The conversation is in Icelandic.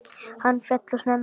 Hann féll of snemma frá.